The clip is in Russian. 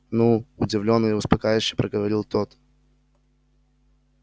ну удивлённо и успокаивающе проговорил тот